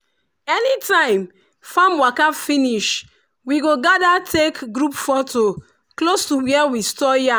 anytime farm waka finish we go gather take group foto close to where we store yam.